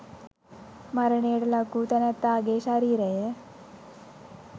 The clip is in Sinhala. මරණයට ලක් වූ තැනැත්තාගේ ශරීරය